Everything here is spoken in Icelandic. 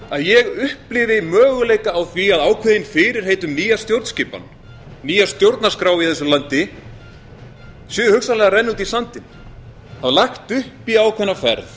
að ég upplifi möguleika á því að ákveðin fyrirheit um nýja stjórnskipan nýja stjórnarskrá í þessu landi sé hugsanlega að renna út í sandinn það var lagt upp í ákveðna ferð